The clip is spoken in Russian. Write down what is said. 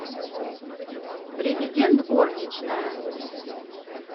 президент горничная